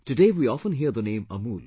Today, we often hear the name AMUL